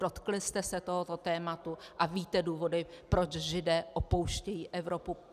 Dotkli jste se tohoto tématu a víte důvody, proč Židé opouštějí Evropu?